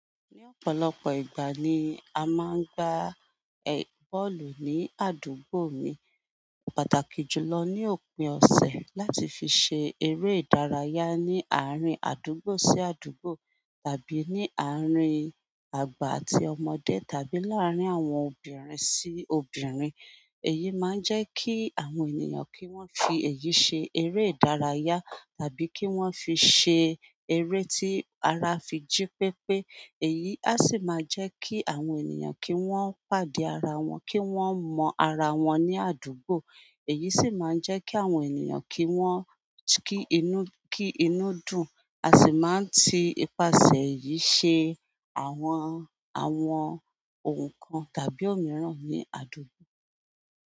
Ní ọ̀pọ̀lọpọ̀ ìgbà ni a máa ń gbá bọ́ọ̀lù ní àdúgbò mi. Pàtàkì jùlọ ní òpin ọ̀sẹ̀ láti fi ṣe eré ìdárayá ní àárín àdúgbò sí àdúgbò, tàbí ní àárín àgbà àti ọmọdé, tàbí láàárín àwọn obìnrin sí obìnrin. Èyí máa ń jẹ́ kí àwọn ènìyàn kí wọ́n fi èyí ṣe eré ìdárayá, tàbí kí wọ́n fi ṣe eré tí ara fi jí pépé. Èyí a sì máa jẹ́ kí àwọn ènìyàn kí wọ́n pàdé ara wọn, kí wọ́n mọ ara wọn ní àdúgbò. Èyí sì máa ń jẹ́ kí àwọn ènìyàn kí wọ́n kí inú-- kí inú dùn. A sì máa ń ti ipasẹ̀ yìí ṣe àwọn, àwọn ohùn kan tàbí òmíràn ní àdúgbò.